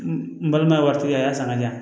N balima ye waati min a y'a san ka di yan